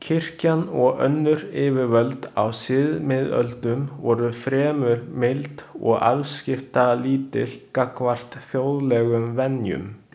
Kirkjan og önnur yfirvöld á síðmiðöldum voru fremur mild og afskiptalítil gagnvart þjóðlegum venjum.